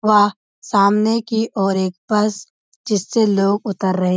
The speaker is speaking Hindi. व सामने की ओर एक बस जिससे लोग उतर रहें --